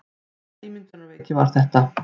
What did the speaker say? Hvaða ímyndunarveiki var þetta?